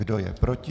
Kdo je proti?